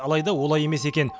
алайда олай емес екен